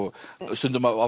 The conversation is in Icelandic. stundum á